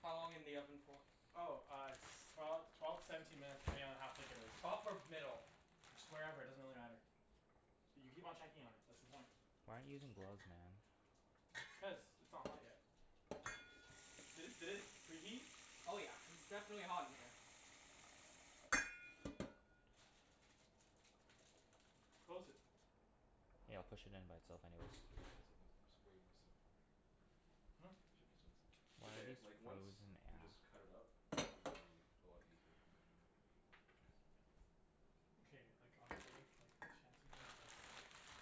How long in the oven for? Oh, uh s- twelve twelve to seventeen minutes depending on how thick it is. Top or middle? Just wherever. It doesn't really matter. So you keep on checking on it. That's the point. Why aren't you using gloves, man? Cuz it's not hot yet. Did it did it preheat? Oh yeah. It's definitely hot in here. Close it. Yeah, I'll push it in by itself anyways. I just should of done something that's way more simpler. Hmm? Should just done som- It's Why are okay. these Like, once frozen we just cut it up, it's gonna be a lot easier from there on out. Okay, like, honestly like, Chancey. What is this?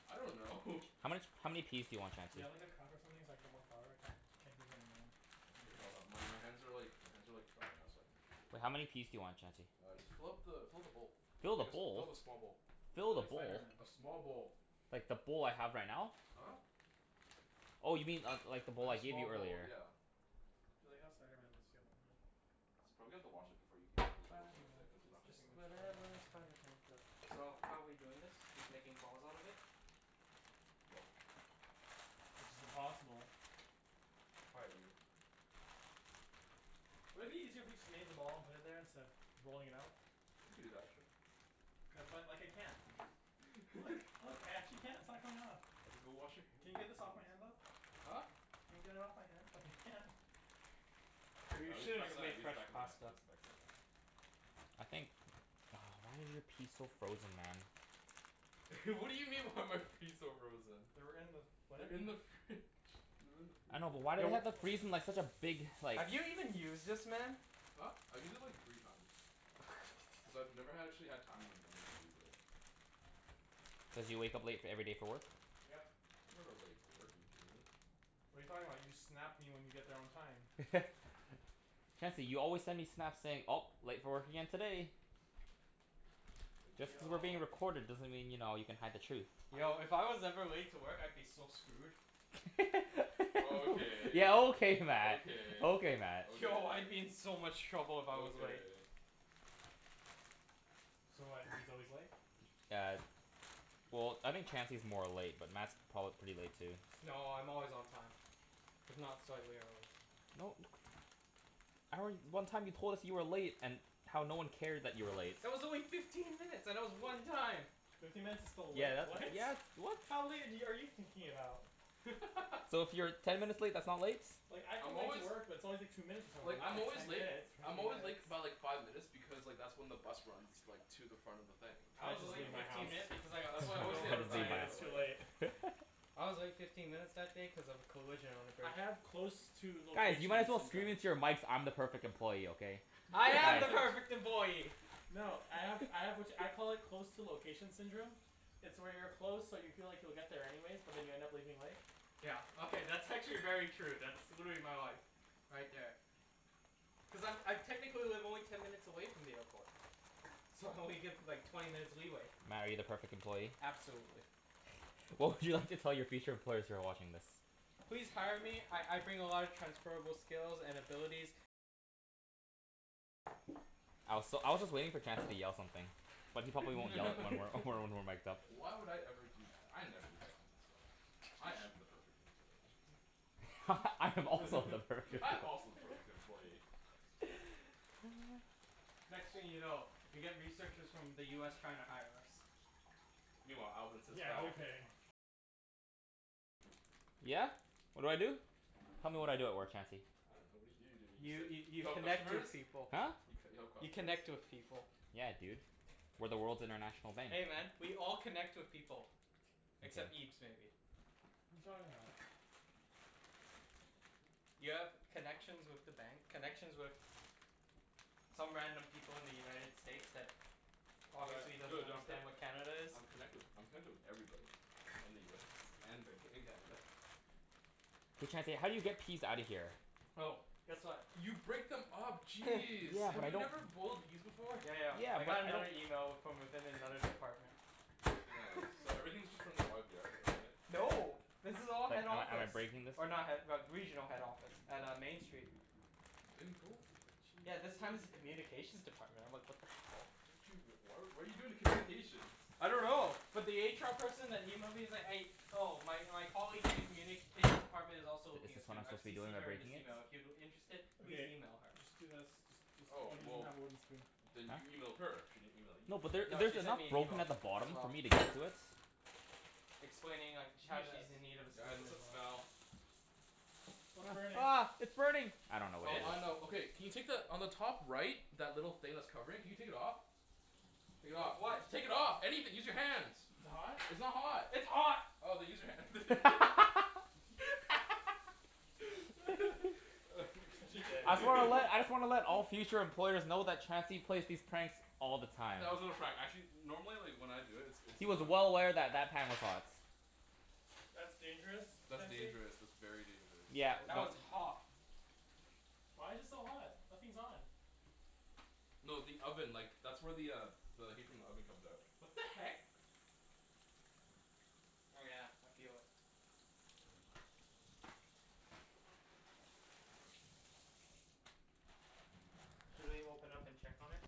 I don't know. How much, how many peas do you want, Do you Chancey? have like a cup or something so I can get more flour? I can't can't do this anymore. Okay, hold on. My my hands are like, my hands are like dry now so I can Wait, how actually many peas do you want, Chancey? Uh, just fill up the fill up the bowl. Fill the I guess fill bowl? the small bowl. I feel Fill the like bowl? Spider Man. A small bowl. Like, the bowl I have right now? Huh? Oh, you mean uh like the Like bowl I a gave small you bowl, earlier? yeah. I feel like how Spider Man must feel. Probably have Spider to wash Man. it before you keep on working Spider with Man. it, cuz it's not It's gonna Just too much work. on whatever a his hand. spider pan does. So, how we doing this? Just making balls out of it? Yep. Which is impossible. Quiet, you. Wouldn't it be easier if we just made them all and put it there, instead of rolling it out? You could do that, sure. Cuz like, I can't. Look, look. I actually can't. It's not coming off. Okay, go wash your hand, Can you get jeez. this off my hand, though? Huh? Can you get it off my hand, cuz I can't? Here, We I'll use the should have back of just the made knife, use the fresh back of the knife, pasta. use the back of the knife. I think why are your peas so frozen, man? What do you mean, why are my fees so frozen? They were in with what? They're in the fridge. They're in the I freezer. know, but why do they Yo have to freeze them like such a big, like Have you even used this, man? Huh? I've used it like, three times. Cuz I've never ha- actually had time in the morning to use it. Cuz you wake up late f- every day for work? Yep. I'm never late for work. Are you kidding me? What are you talking about? You Snap me when you get there on time. Chancey, you always send me Snaps saying, "Oh, late for work again today." Are Just you cuz we're Yo. being recorded doesn't mean, you know, you can hide the truth. Yo, if I was ever late to work I'd be so screwed. Okay. Yeah, okay Mat! Okay, Okay Mat. Yo, I'd be okay. in so much trouble if I was late. Okay. So what, he's always late? Yeah. Well, I think Chancey's more late, but Mat's prob- pretty late too. No, I'm always on time. If not slightly early. No. I re- one time you told us you were late and how no one cared that you were late. That was only fifteen minutes, and it was one time. Fifteen minutes is still late, Yeah, that's, right? yeah, that's, what? How late have y- are you thinking about? So, if you're ten minutes late, that's not late? Like, I come I'm late to always work but it's always like two minutes or Like, something. Not I'm like always ten late minutes. I'm Fifteen always late k- minutes. by like five minutes because like, that's when the bus runs like to the front of the thing. I I was To the just late leave my my fifteen house minutes workplace. because I got That's why I screwed always say I over I'm two just leave late, by my but minutes too like late. I was late fifteen minutes that day cuz of a collision on the I bridge. have close to Guys, you location might as well scream into syndrome. your mics, "I'm the perfect employee!" Okay? I am Nice. the perfect employee! No, I have I have which, I call it close to location syndrome. It's where you're close, so you feel like you'll get there anyways, but then you end up leaving late. Yeah, okay, that's actually very true. That's, would be my life. Right there. Cuz I'm I technically live only ten minutes away from the airport. So, I only give like, twenty minutes leeway. Mat, are you the perfect employee? Absolutely. What would you like to tell your future employers who are watching this? Please hire me. I I bring a lot of transferable skills and abilities. I was s- I was just waiting for Chancey to yell something. But he probably won't yell it when we're when we're mic'd up. Why would I ever do that? I never do that kind of stuff. I am the perfect employee. I am also the perfect I'm also the perfect employee. Next thing you know, we get researchers from the US trying to hire us. Meanwhile, Alvin sits back Yeah? What do I do? Tell me what I do at work, Chancey? I dunno. What do you do? Don't you You just sit y- You you help connect customers? with people. Huh? You c- you help You customers? connect with people. Yeah, dude. We're the world's international bank. Hey man, we all connect with people. Except Okay. Ibs, maybe. You talking about? You have connections with the bank, connections with some random people in the United States that obviously Tri- doesn't true, d- I'm c- understand what Canada is. I'm connected wi- I'm connected with everybody in the US and Vanco- in Canada. Hey Chancey, how do you get peas outta here? Oh, guess what? You break them up. Jeez! Yeah, Have but I you don't never boiled peas before? Yeah, yeah. Yeah, I but got I don't another email w- from within another department. Nice. So everything's just from the YVR though, right? No. This is But all head am I am I office. breaking this? Or not head but regional head office. At uh, Main Street. Then go for it. Yeah, this Jeez. time it's a communications department. I'm like, what the hell? How did you, w- why what are you doing with communications? I don't know. But the HR person that emailed me is like, a- Oh, my my colleague in the communications department is Is also looking a this what I'm student. I've supposed to be doing CCed by her in this breaking it? email. If you're interested, please Okay. email her. Just do this. Just just oh, Oh, he doesn't well have a wooden spoon. then Huh? you emailed her? She didn't email you. No, but there No, she there's sent enough me an broken email. at the bottom As for well. me to get to it. Explaining like, sh- Do how she's this. in need of a Guys, student what's as that well. smell? What's burning? Ah, ah, it's burning! I The dunno what Oh, I fish? know. it is. Okay can you take the, on the top right that little thing that's covering? Can you take it off? Take it With off. what? Just take it off! Anything! Use your hands! Is Is it it hot? hot? It's not hot! It's hot! Oh, then use your hand. You're such a You dick. I just wanna let I just wanna let all future employers know that Chancey plays these pranks all the time. That was not a prank. Actually normally like, when I do it it's He was not well aware that that pan was hot. That's dangerous, That's Chancey. dangerous. That's very dangerous. Yeah, That was but hot. Why's it so hot? Nothing's on. No, the oven. Like, that's where the uh the heat from the oven comes out. What the heck? Oh yeah, I feel it. Should we open up and check on it?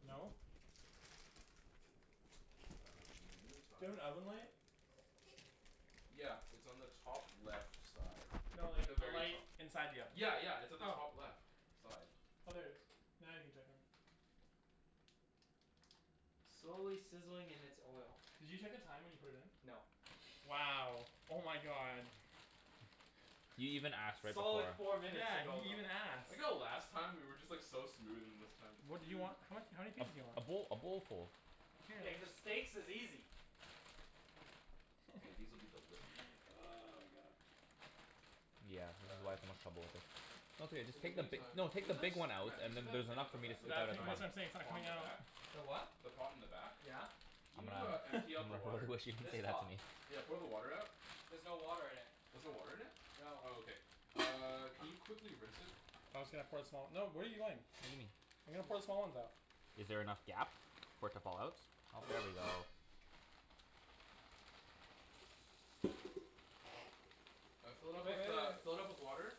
Hmm? No. Uh, in the Do you have an meantime oven light? Yeah, it's on the top left side. No, Like like the a very light to- inside the oven. Yeah, yeah. It's on the top Oh. left side. Oh, there it is. Now you can check on it. Slowly sizzling in its oil. Did you check the time when you put it in? No. Wow! Oh my god. You even ask, right before. Solid four minutes Yeah, he ago, didn't though. even I like ask. how last time we were just like so smooth, and this time What do you want? What, how many A pieces do you a want? bowl a bowlful. Yeah, cuz steaks is easy. K, these will be delicious when they come out. Oh my god. Yeah, this is Uh why I had so much trouble with this. No, it's okay. Just In the take the bi- meantime no, take you know the the big s- one out, Mat, do you and see then that there's thing enough at the for me to ba- Tha- te- scoop like out the of that's the giant what bottom. I'm saying. It's not pot on coming the out. back? The what? The pot in the back? Yeah. Can I'm you uh gonna empty out I'm the gonna really water? wish you didn't This say that to pot? me. Yeah, pour the water out. There's no water in it. There's no water in it? No. Oh, okay. Uh, can you quickly rinse it? I was gonna pour some out. No, what are you doing? What do you mean? I was gonna put Excuse. the small ones out. Is there enough gap for it to fall out? Oh, there we go. Uh, fill it Wait, up with wait, uh, wait. fill it up with water.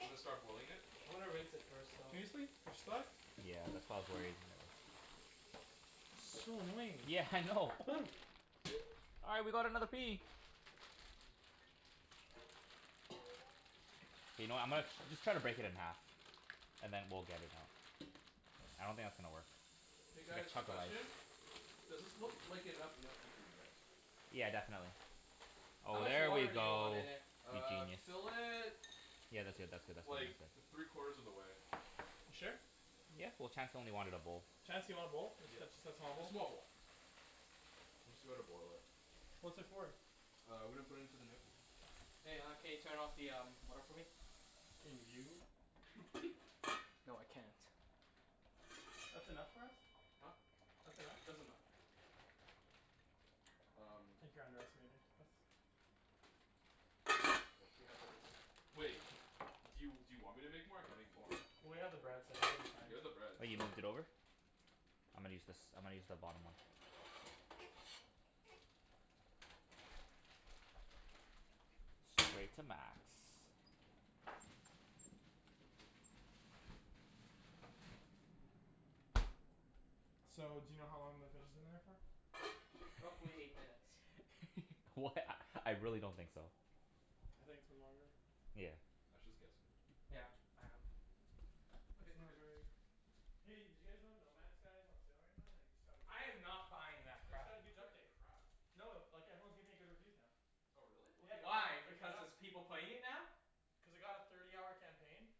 And then start boiling it. I'm gonna rinse it first, though. Seriously? They're stuck? Yeah, that's why I was worried So annoying. Yeah, I know. All right, we got another pea! You know, I'm gonna just try to break it in half. And then we'll get it out. I don't think that's gonna work. K Big guys, quick chunk of ice. question. Does this look like enough gnocchi for you guys? Yeah, definitely. How Oh, much there we water do you want go. in it? You Uh, genius. fill it Yeah, that's good, that's good, that's good, like, that's good. three quarters of the way. You sure? Yeah. Well, Chancey only wanted a bowl. Chancey wanted a bowl? Ju- ju- Yeah, just a small a bowl? small bowl. I'm just gonna boil it. What's it for? Uh, we're gonna put in to the gnocchi. Hey, uh, can you turn off the um water for me? Can you? No, I can't. That's enough for us? Huh? That's enough? That's enough. I Um think you're underestimating us. I wish we had like, a s- Wait. Do you do you want me to make more? I can make more. Well, we have the bread so I think we'll be fine. You have the bread, Oh, so you moved it over? I'm gonna use this, I'm gonna use the bottom one. Straight to max. So, do you know how long the fish has been in there for? Roughly eight minutes. Wh- a I really don't think so. I think it's been longer. Yeah. Mat's just guessing. Yeah, I am. Okay, It's we're not good. very Hey, did you guys know No Man Skies is on sale right now, and i- it just got a huge I am update? not buying that It's crap. got a I huge heard it's update. crap. No, like everyone's giving it good reviews now. Oh, really? W- Yeah, why? Because there's people playing it now? Cuz it got a thirty hour campaign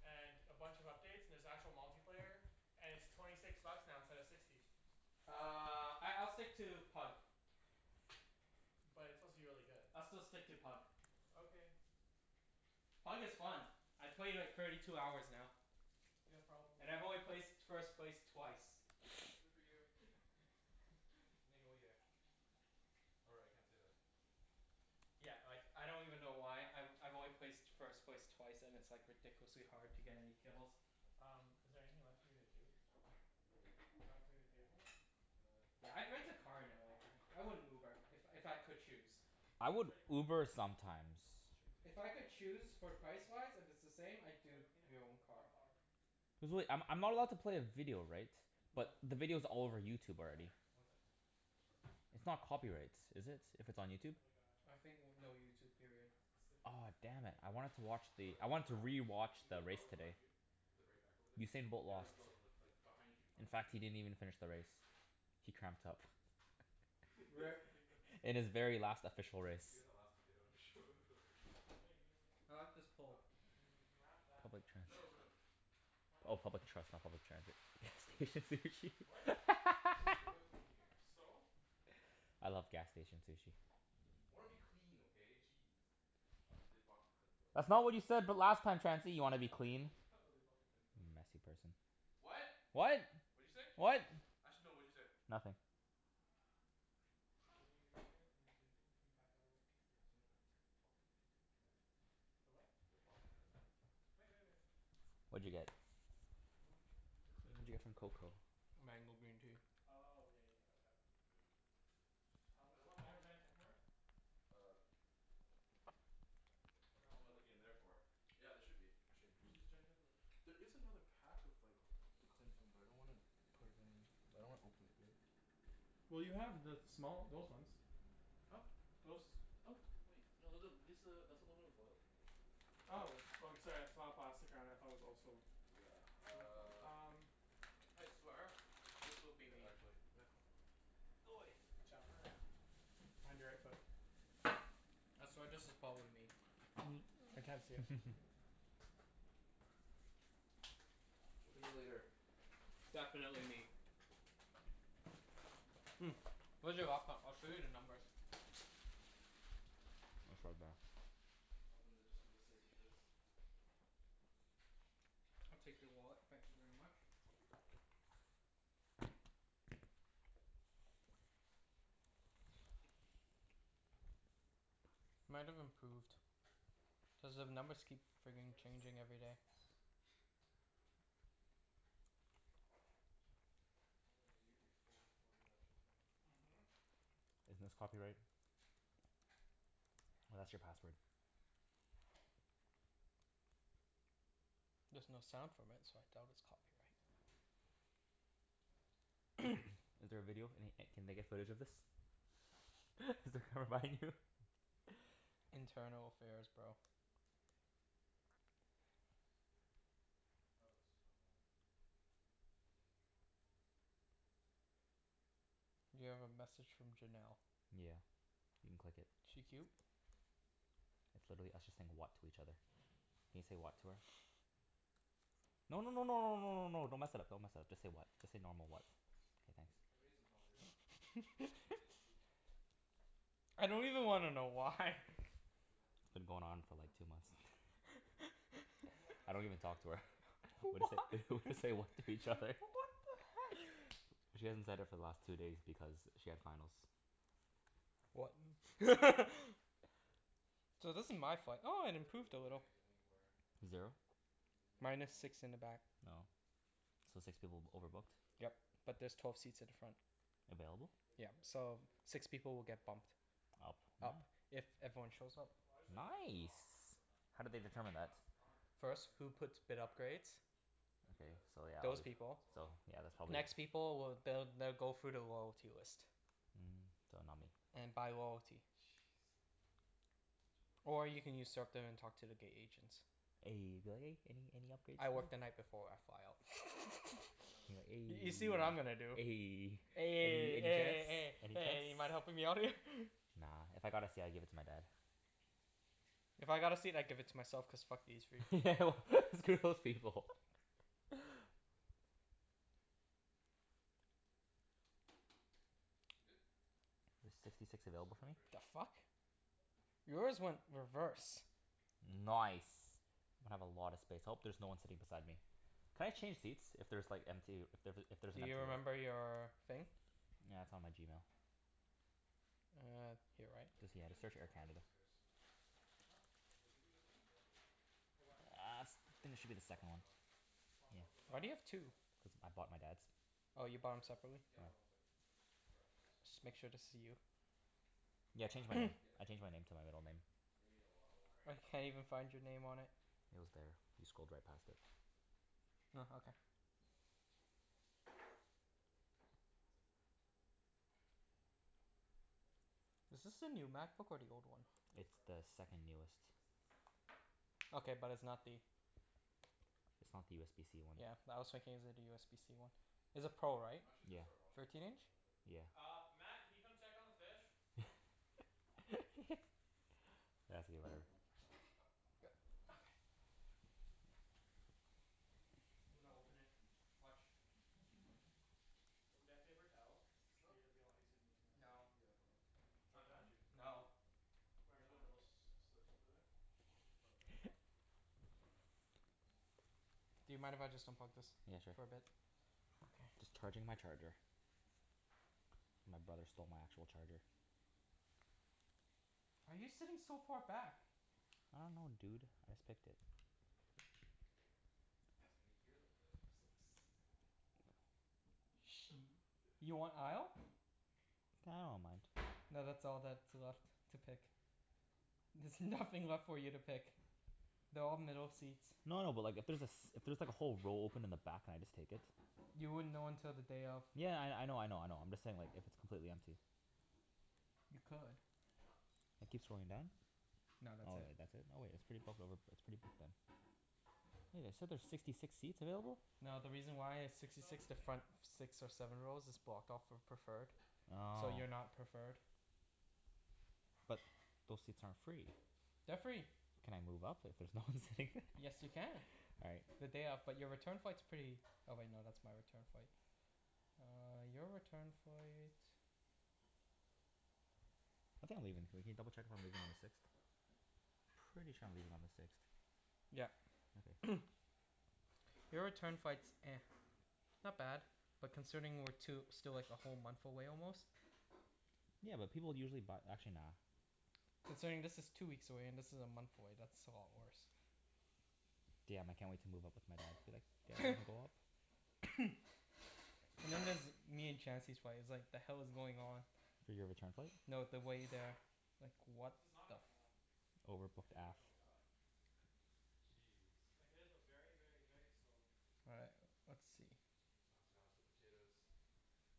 and a bunch of updates, and there's actual multiplayer. And it's twenty six bucks now instead of sixty. Uh, I I'll stick to Pug. But it's supposed to be really good. I'll still stick to Pug. Okay. Pug is fun. I played like, thirty two hours now. You have problems. And I've only placed first place twice. Good for you. Or, I can't say that. Yeah, like, I don't even know why. I've I've only placed first place twice and it's like, ridiculously hard to get any kills. Um, is there anything left for me to do? Not really. Can I clean the table? Uh, Yeah, you I'd boiling rent the a peas car right in now? LA, man. I Huh? wouldn't Uber. Boiling the If peas if right I could now? choose. I Pea's would already boiling. Uber sometimes. Okay, Should we clean the If I table could so we can choose, eat? for Yeah, finish it. price-wise, if it's the same? I'd What do I do clean it your with? own car. Wildflower. There's really, I'm I'm not allowed to play a video, right? No. But the video's all over YouTube Yeah? already. One sec, please. It's not copyright, is it? If it's on Do you YouTube? have like, a I think w- no YouTube, period. specific Oh, damn it. cleaning I wanted thingie? to watch Oh wait, the, I I'm gonna wanted to wrap the rest of thi- can rewatch you put the the race garlic today. behind you? The very back over there. Usain Bolt Yeah, no lost. no no, like, behind you In behind Just give you. me fact a he didn't second. even finish the race. He cramped up. The Re- tomatoes are In his gone. very last official race. You last tomato and throw it in there? Here, you can use this. I like this Huh? pole. You can you can wrap that in Public this No, transit. no Why not? Oh, public trust not public transit. Gas station sushi. What? Cuz there's oil in here. So? I love gas station sushi. I wanna be clean, okay? Jeez. Uh, they blocked the cling film? That's not what you said b- last time, Chancey. You How wanna is be that clean. dirty? Ha, no, they blocked the cling film. Messy person. What? What? What'd you say? Actually no, what'd you say? Nothing. Can you give me something to clean the table. Can you pack that away? The what? They blocked the cling film. Wait, wait, wait. What'd you get? What do you want me to do? The cling What'd film you is get at from the back. cocoa? Mango green tea. Oh, yeah, you can't touch that. Mm. Um I do don't want you have mom giant Tupperware? Uh Ap- ab- what am I looking in there for? Yeah, there should be, actually in Just use a here. giant Tupperware. There is another pack of like the cling film, but I don't want to put it in. I don't wanna open it yet. Well, you have the small, those ones. Huh? Those. Oh, wait. No, th- th- this a, that's aluminum foil. Oh. Oh, sorry. I just saw the plastic around it and thought it was also Yeah, Hmm, hmm, uh um I swear this will be Here me. actually. Mat, hold on Go away. Watch out. Behind your right foot. I swear this is pot with me. I can't see it, so Talk to me later. Definitely me. Mm, where's your laptop? I'll show you the numbers. It's right there. Open the, just for the sake of this. I'll take your wallet. Thank you very much. Might have improved. Cuz the numbers keep This frigging bread is so changing good. every day. you'll be full before the actual thing. Mhm. Isn't this copyright? Oh, that's your password. There's no sound from it so I doubt it's copyright. Is there a video? Any e- can they get footage of this? Is it gonna you? Internal affairs, bro. Does this work? Oh, it's stuck on. You have a message from Janelle. Yeah. You can click it. She cute? It's literally us just saying, "What?" to each other. Can you say, "What?" to her? No, no no no no no no no, don't mess it up, don't mess it up. Just say, "What?" Just say normal, "What?" K, thanks. Ja- I'm gonna need some help here. Ibs? I don't even wanna What? know Can you why. uh, do that real It's quick? been going on for Open it Hmm? like, two real months. quick. Can you open it real quick? Open what? No, I so- don't even carry talk it, to her. sorry. We Why? say we say, "What?" to each What other. the heck? She hasn't said it for the last two days because she had finals. What? K. So this is Now, my uh, flight. we can Ah, it put it improved a little. away s- anywhere. Zero? And Minus now six in the back. Oh. So six people b- It's okay if we overbooked? put it Yep. over But there's twelve seats at the front. Available? It is, Yep. yeah, it's way So, too six people will get wet. bumped. Up, ah Up. If everyone shows up. Well, I just thought you were gonna put Nice. Aw, it crap. How I did thought they you were gonna determine put that? plastic on it and First, then who puts Huh? bid wrap it up. upgrades. I could do Okay, that as so well. yeah I Those should have done obv- that people. as well. So, yeah, that's probably Next Should have done people that. w- they'll they'll go through the loyalty list. Mm, so not me. And by loyalty. Jeez. Such a waste. Or you can usurp them and talk to the gate agents. Eh, you'll be like, "Any any upgrades" I work the night before I fly out. Should I grab another piece? You'll be You see like, what I'm "Eh" gonna do. Eh Eh, Eh, any eh, eh, chance, eh, any you mind helping chance? me out here? Nah, if I got a seat I'd give it to my dad. If I got a seat I'd give it to myself cuz fuck these free. Yeah, well, screw those people. Za- good? There's sixty six Just sit it available in for the me? fridge. The fuck? Yours went reverse. No ice. I'm gonna have a lot of space. I hope there's no one sitting beside me. Can I change seats if there's like empty, if th- if there's Do empty you remember your thing? Yeah, it's on my Gmail. Uh, here, right? I think Just we yeah, just just search need Air water at this Canada. case. Huh? I think we just need water. For what? Ah s- I To think it w- should be the to wash second that one. off. Wash what? The Yeah. Why do flour? you have Yeah. two? Cuz I bought my dad's. Oh, Isn't there you bought water 'em in this? separately? Yeah, hold Yeah. on one sec. I'm just wrapping this. Just make sure this is you. Oh, Yeah, I changed my wow. name. Yeah, I changed exactly. my name to my middle name. You're gonna need a lot of water. I can't even find your name on it. It was there. You scrolled right past it. Oh, okay. Is this the new MacBook, or the old one? Oh, it's It's the gross. second newest. This is disgusting. Okay, but it's not the It's not the USBC one. Yeah, I was thinking is it a USBC one. Is a Pro, right? I'm actually just Yeah. gonna start washing this Thirteen stuff while inch? I'm at it. Yeah. Uh, Mat, can you come check on the fish? Yeah, see you later. Yep. Okay. I'm gonna open it. Watch. Do you have Ooh. paper towel? Huh? Be, it'd be a lot easier than using this. No. Yeah, hold on. It's It's right not behind you. done? It's behind you. No. Right in the little s- slip over there. Beside the microwave. Oh. Do you mind if I just unplug this Yeah, sure. for a bit? Okay. Just charging my charger. My brother stole my actual charger. Why are you sitting so far back? I dunno, dude. I just picked it. I can hear the oil just like sizzling. Sh- you want aisle? I don't mind. No, that's all that's left to pick. There's nothing left for you to pick. They're all middle seats. No no, but like, if there's a s- if there's like a whole row open in the back, can I just take it? You wouldn't know until the day of. Yeah, I I know, I know, I know. I'm just saying like if it's completely empty? You could. Keep scrolling down. No, that's Oh, it. wait, that's it? Oh wait, it's pretty booked over, it's pretty booked, then. Hey, they said there's sixty six seats available? No, the reason why it's There's sixty soap six, the anywhere? front f- six Hmm? or Right here. seven rows is blocked off for preferred. So, you're Oh. not preferred. But those seats aren't free? They're free. Can I move up if there's no one sitting Yes, you there? can. All right. The day of. But You your good? return flight's pretty Oh wait, no, that's my return flight. Uh, your return flight I think I'm leaving, can we can you double check if I'm leaving on the sixth? Pretty sure I'm leaving on the sixth. Yeah. Okay. Your return flight's not bad. But considering we're two, still like a whole month away almost? Yeah, but people usually buy, actually, nah. Considering this is two weeks away and this is a month away, that's a lot worse. Damn, I can't wait to move up with my dad. Be like "Yeah, wanna go up?" And then there's me and Chancey's flight. It's like the hell is going on? For your return flight? No, the way there. Like, This what is not the f- coming off. Is Overbooked it not aff. coming off? Jeez. Like, it is, but very, very, very slowly. All right, let's see. Oh god, the potatoes.